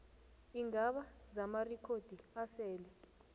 iingaba zamarikhodi asele